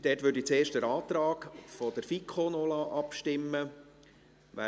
Hier würde ich zuerst über den Antrag der FiKo abstimmen lassen.